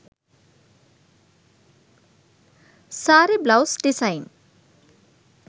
saree blouse design